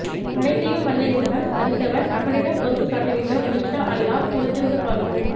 அனைத்தையும் வல்ல இறைவன் அறிந்தவன் அவனிடம் பொறுப்பு சாட்டிவிட்டோம் இன்ஷா அலலாஹ் பொருத்து இருந்து பார்போம்